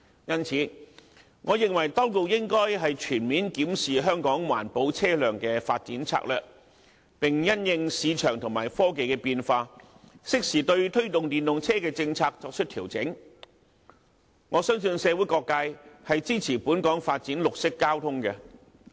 因此，我認為當局應該全面檢視香港環保車輛的發展策略，並因應市場和科技的變化，適時對推動電動車的政策作出調整，我相信社會各界均支持本港發展綠色交通。